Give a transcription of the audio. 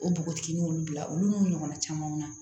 O npogotiginin olu bila olu n'u ɲɔgɔnna camanw na